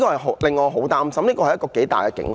主席，這是一個重大的警號。